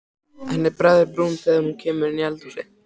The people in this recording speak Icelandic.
Henni bregður í brún þegar hún kemur inn í eldhúsið.